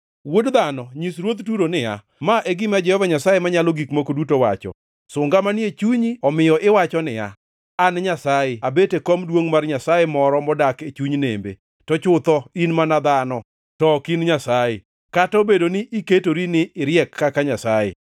“Wuod dhano, Nyis ruodh Turo niya, Ma e gima Jehova Nyasaye Manyalo Gik Moko Duto wacho: “ ‘Sunga manie chunyi omiyo iwacho niya, “An nyasaye; Abet e kom duongʼ mar nyasaye moro modak e chuny nembe.” To chutho in mana dhano, to ok in nyasaye, kata obedo ni iketori ni iriek kaka nyasaye.